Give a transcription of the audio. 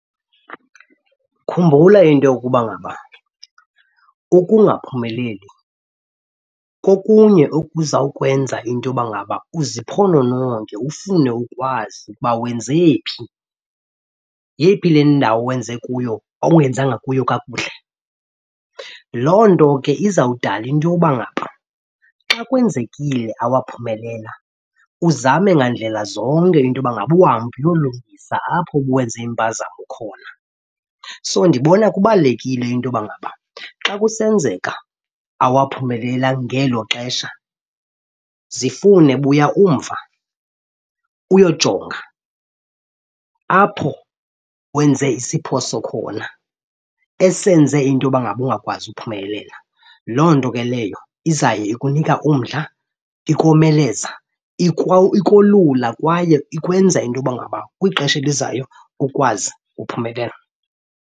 Khumbula into yokuba ngaba ukungaphumeleli kokunye okuzawukwenza into yoba ngaba uziphonononge ufune ukwazi ukuba wenze phi. Yeyiphi le ndawo wenze kuyo, owungenzanga kuyo kakuhle? Loo nto ke izawudala into yoba ngaba xa kwenzekile awaphumelela uzame ngandlela zonke into yoba ngaba uhambe uyolungisa apho buwenze impazamo khona. So ndibona kubalulekile into yoba ngaba xa kusenzeka awaphumelela ngelo xesha, zifune, buya umva uyojonga apho wenze isiphoso khona esenze into yoba ngaba ungakwazi ukuphumelela. Loo nto ke leyo izawuye ikunika umdla, ikomeleza, ikolula kwaye ikwenza into yoba ngaba kwixesha elizayo ukwazi uphumelela.